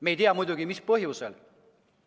Me ei tea muidugi, mis põhjusel.